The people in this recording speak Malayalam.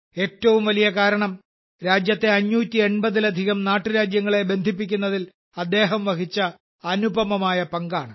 ഏറ്റവും വലിയ കാരണം രാജ്യത്തെ 580ലധികം നാട്ടുരാജ്യങ്ങളെ ബന്ധിപ്പിക്കുന്നതിൽ അദ്ദേഹം വഹിച്ച അനുപമമായ പങ്കാണ്